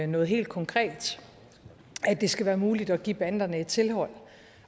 noget helt konkret at det skal være muligt at give banderne et tilhold